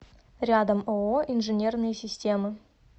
рядом ооо инженерные системы